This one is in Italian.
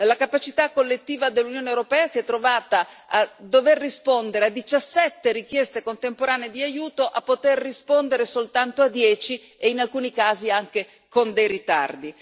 La capacità collettiva dell'Unione europea si è trovata a dover rispondere a 17 richieste contemporanee di aiuto, a poter rispondere soltanto a dieci e in alcuni casi anche con dei ritardi.